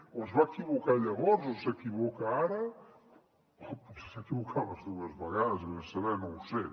o es va equivocar llavors o s’equivoca ara o potser s’ha equivocat les dues vegades ves a saber no ho sé